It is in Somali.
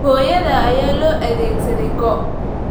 Hooyada ayaa loo adeegsaday go'